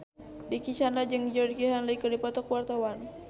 Dicky Chandra jeung Georgie Henley keur dipoto ku wartawan